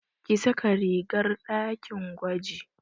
Ki saka rigar ɗakin gwaji!